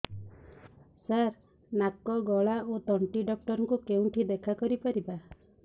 ସାର ନାକ ଗଳା ଓ ତଣ୍ଟି ଡକ୍ଟର ଙ୍କୁ କେଉଁଠି ଦେଖା କରିପାରିବା